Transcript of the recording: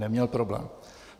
Neměl problém.